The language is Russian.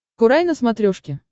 курай на смотрешке